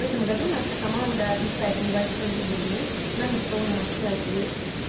в этом году наша команда отмечает небольшой юбилей нам исполнилось пять лет